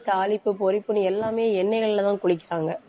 தாளிப்பு பொரிப்புன்னு எல்லாமே எண்ணெய்கள்லதான் பொரிக்குறாங்க